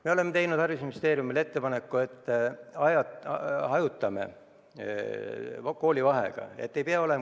Me oleme teinud haridusministeeriumile ettepaneku, et hajutame koolivaheaega.